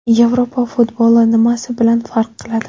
Yevropa futboli nimasi bilan farq qiladi?